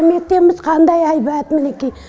мектебіміз қандай әйбат мінекей